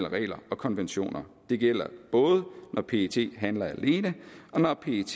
regler og konventioner det gælder både når pet handler alene og når pet